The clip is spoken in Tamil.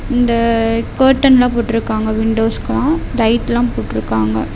இந்த கர்ட்டன்லா போட்டுருக்காங்க விண்டோஸ்க்குலாம் லைட்லாம் போட்டுருக்காங்க.